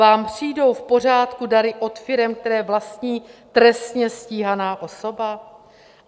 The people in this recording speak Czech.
Vám přijdou v pořádku dary od firem, které vlastní trestně stíhaná osoba?